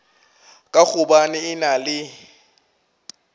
ka gobane e na le